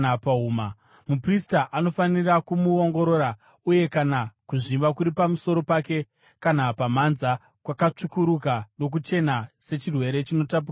Muprista anofanira kumuongorora uye kana kuzvimba kuri pamusoro pake kana pamhanza kwakatsvukuruka nokuchena sechirwere chinotapukira cheganda,